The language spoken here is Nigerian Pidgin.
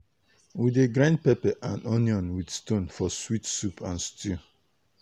we dey grind pepper and onion with stone for sweet soup and stew.